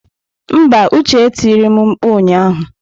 Mba, Uche e tiri m mkpu ụnyahụ.